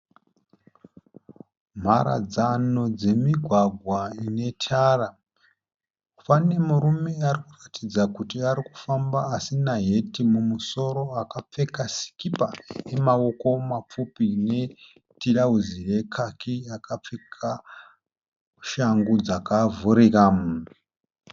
Mharadzano dzemigwagwa inetara. Pane murume arikuratidza kuti arikufamba adina heti mumusoro, akapfeka sikipa ine maoko mapfupi netirauzi rekaki, akapfeka shangu dzakavhurika.